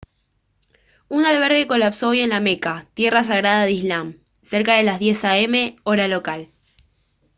un albergue colapsó hoy en la meca tierra sagrada del islam cerca de las 10:00 a m hora local